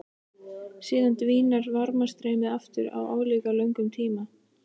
Síðan dvínar varmastreymið aftur á álíka löngum tíma.